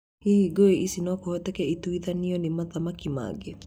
hihi ngũĩ ici nokũhotekeke ituithanio nĩ mothanaki mangĩ?